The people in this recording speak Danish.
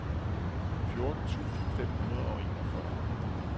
fjorten tusind fem hundrede og enogfyrre